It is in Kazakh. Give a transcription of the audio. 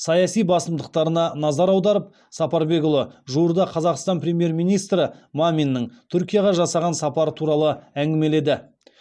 саяси басымдықтарына назар аударып сапарбекұлы жуырда қазақстан премьер министрі маминнің түркияға жасаған сапары туралы әңгімеледі